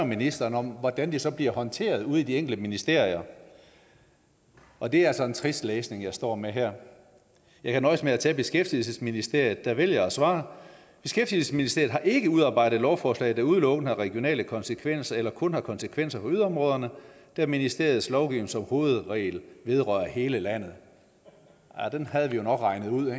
ministeren om hvordan det så blev håndteret ude i de enkelte ministerier og det er altså en trist læsning jeg står med her jeg kan nøjes med at tage beskæftigelsesministeriet der vælger at svare beskæftigelsesministeriet har ikke udarbejdet lovforslag der udelukkende har regionale konsekvenser eller kun har konsekvenser for yderområderne da ministeriets lovgivning som hovedregel vedrører hele landet den havde vi jo nok regnet ud